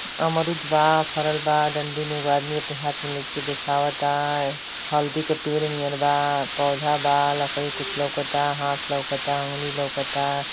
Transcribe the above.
अमरूद बा फरल बा डंडी में एगो आदमी अपने हाथ में लेके देखावता। हल्दी के पेड़ नीयर बा पौधा बा। लकड़ी क् कुछ लउकता। हांथ लउकता अंगुली लउकता।